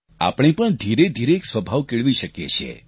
આપણે પણ ધીરેધીરે એક સ્વભાવ કેળવી શકીએ છીએ